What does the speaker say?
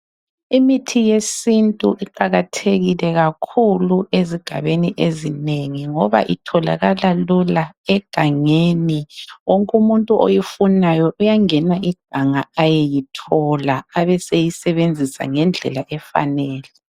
Imithi yesintu iqakathekile kakhulu ezigabeni ezinengi ngoba itholakala lula egangeni wonke umuntu oyifunayo uyangena iganga ayeyithola abeseyisebenzisa ngendlela efanele.